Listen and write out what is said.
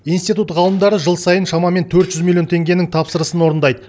институт ғалымдары жыл сайын шамамен төрт жүз миллион теңгенің тапсырысын орындайды